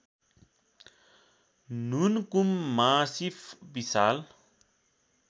Nunkun massif Vishal